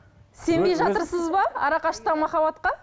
сенбей жатырсыз ба арақашықтықтағы махаббатқа